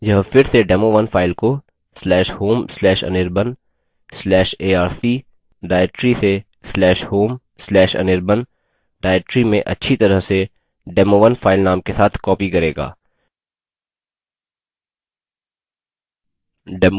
यह फिर से demo1 फाइल को/home/anirban/arc/directory से/home/anirban directory में अच्छी तरह से demo1 फाइल name के साथ copy करेगा